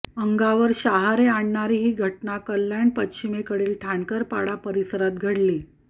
अंगावर शहरे आणणारी ही घटना कल्याण पश्चिमेकडील ठणकरपाडा परिसरात घडली